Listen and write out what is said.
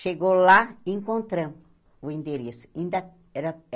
Chegou lá e encontramos o endereço. Ainda era